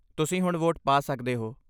ਤੁਸੀਂ ਹੁਣ ਵੋਟ ਪਾ ਸਕਦੇ ਹੋ।